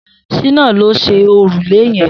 Shina ló ṣé órúlé yẹ̀n